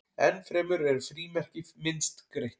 enn fremur eru frímerki myndskreytt